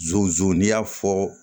n'i y'a fɔ